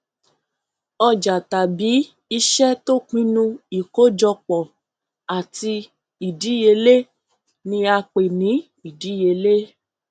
òjà tàbí iṣẹ tó pinnu ìkójọpọ àti ìdíyelé ni a pè ní ìdíyelé